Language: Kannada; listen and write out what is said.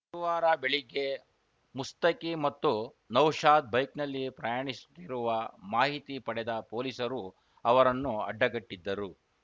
ಗುರುವಾರ ಬೆಳಗ್ಗೆ ಮುಸ್ತಕಿ ಮತ್ತು ನೌಶಾದ್‌ ಬೈಕ್‌ನಲ್ಲಿ ಪ್ರಯಾಣಿಸುತ್ತಿರುವ ಮಾಹಿತಿ ಪಡೆದ ಪೊಲೀಸರು ಅವರನ್ನು ಅಡ್ಡಗಟ್ಟಿದ್ದರು